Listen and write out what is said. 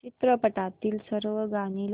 चित्रपटातील सर्व गाणी लाव